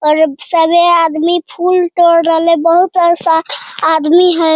और सभी आदमी फूल तोड़ रहले बहुत ऐसा आदमी है ।